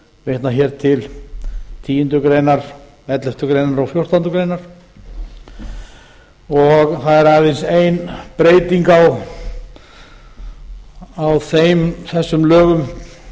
vitnað hér til tíu greinar elleftu greinar og fjórtándu greinar það er aðeins ein breyting á þessum lögum um